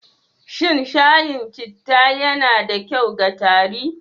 Shin shayin cita yana da kyau ga tari?